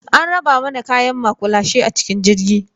An raba mana kayan maƙulashe a cikin jirgi.